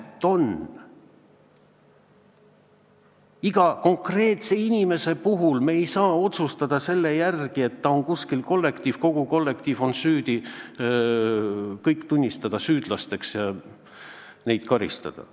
Me ei saa iga konkreetse inimese puhul otsustada selle järgi, et ta on kuskil kollektiivis, kogu kollektiiv on süüdi, kõik tunnistatakse süüdlasteks ja neid karistatakse.